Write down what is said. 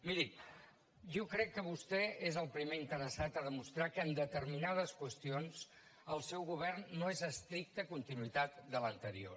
miri jo crec que vostè és el primer interessat a demostrar que en determinades qüestions el seu govern no és estricta continuïtat de l’anterior